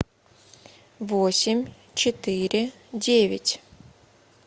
восемь четыре девять